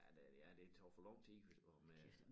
Ja det ja det tager for lang tid hvis og med